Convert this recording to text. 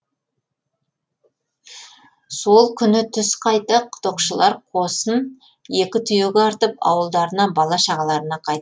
сол күні түс қайта құдықшылар қосын екі түйеге артып ауылдарына бала шағаларына қайт